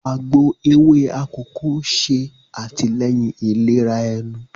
Àgbò ewé akọkọ ṣe atilẹyin ìlera ẹnu